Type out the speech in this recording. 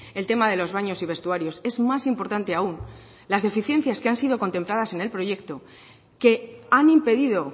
el tema de los baños y vestuarios es más importante aún las deficiencias que han sido contempladas en el proyecto que han impedido